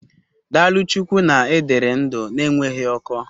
Daalụ Chukwu na ị dịrị ndụ na-enweghị ọkọ.